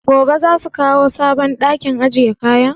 Gobe za su kawo sabon ɗakin ajiye kayan?